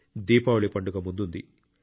దీపావళి పండుగ ముందుంది